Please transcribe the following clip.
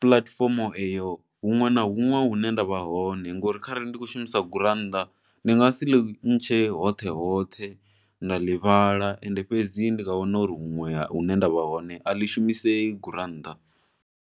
puḽatifomo eyo huṅwe na huṅwe hune nda vha hone. Ngo ri kharali ndi khou shumisa gurannḓa ndi nga si ḽi ntshe hoṱhe hoṱhe nda ḽi vhala and fhedzi ndi nga wana uri huṅwe hune nda vha hone a ḽi shumisei gurannḓa.